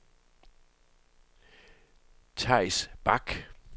Theis Bak